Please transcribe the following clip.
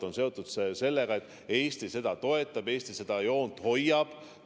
Eesti seda toetab, Eesti seda joont hoiab.